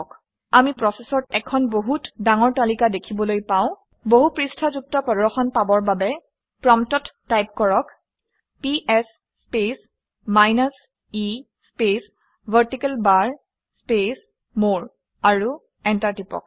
আমি প্ৰচেচৰ এখন বহুত ডাঙৰ তালিকা দেখিবলৈ পাও। বহুপৃষ্ঠাযুক্ত প্ৰদৰ্শন পাবৰ বা প্ৰম্পটত টাইপ কৰক - PS space minus e space vertical bar space more আৰু এণ্টাৰ টিপি দিয়ক